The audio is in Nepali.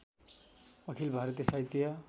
अखिल भारतीय साहित्य